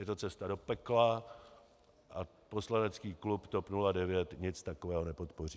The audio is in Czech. Je to cesta do pekla a poslanecký klub TOP 09 nic takového nepodpoří.